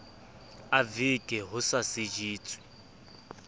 a veke ho sa sejetswe